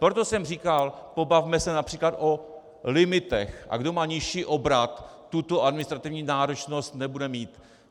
Proto jsem říkal: pobavme se například o limitech, a kdo má nižší obrat, tuto administrativní náročnost nebude mít.